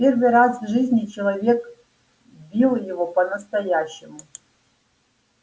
в первый раз в жизни человек бил его по настоящему